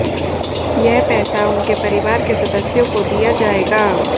यह पैसा उनके परिवार के सदस्यों को दिया जाएगा